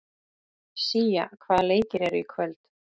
Sía, hvaða leikir eru í kvöld?